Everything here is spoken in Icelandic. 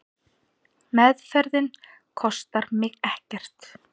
Meðferðin kostar mig ekkert.